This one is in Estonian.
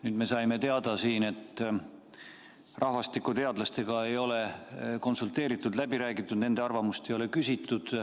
Nüüd me saime teada, et rahvastikuteadlastega ei ole konsulteeritud, läbi räägitud, nende arvamust ei ole küsitud.